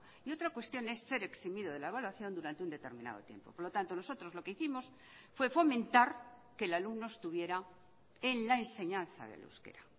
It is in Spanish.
y otra cuestión es ser eximido de la evaluación durante undeterminado tiempo por lo tanto nosotros lo que hicimos fue fomentar que el alumno estuviera en la enseñanza del euskera